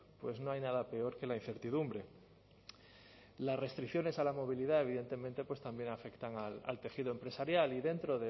pues no hay nada peor que la incertidumbre las restricciones a la movilidad evidentemente pues también afectan al tejido empresarial y dentro